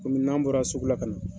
Kɔmi n'an bɔra sugu la ka na.